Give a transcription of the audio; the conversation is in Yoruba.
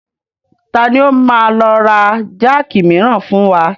Tani ó máa lọ ra jáàkì miran wá fún wa?